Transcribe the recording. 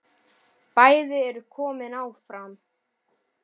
Bæði eru þau komin áfram.